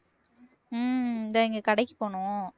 ஹம் இந்தா இங்கே கடைக்குப் போகணும்